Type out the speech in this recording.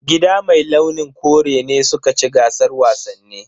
Gida mai launin kore ne suka ci gasar wasannin.